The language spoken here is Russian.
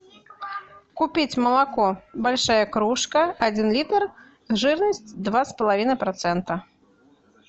купить молоко большая кружка один литр жирность два с половиной процента